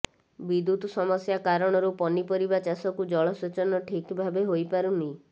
ବିଦ୍ୟୁତ ସମସ୍ୟା କାରଣରୁ ପନିପରିବା ଚାଷକୁ ଜଳସେଚନ ଠିକ ଭାବେ ହୋଇପାରୁନି